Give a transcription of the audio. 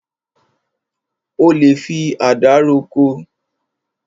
O lè fi àdá roko.